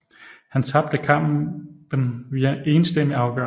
Han tabte kampen via enstemmig afgørelse